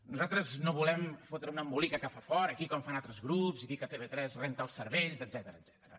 nosaltres no volem fotre un embolica que fa fort aquí com fan altres grups i dir que tv3 renta els cervells etcètera